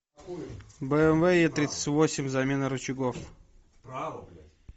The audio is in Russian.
бмв е тридцать восемь замена рычагов